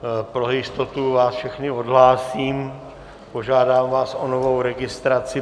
Pro jistotu vás všechny odhlásím, požádám vás o novou registraci.